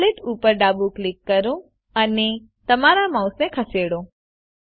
translate ઉપર ડાબું click કરો અને તમારા માઉસને ખસેડો